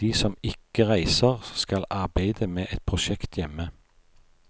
De som ikke reiser, skal arbeide med et prosjekt hjemme.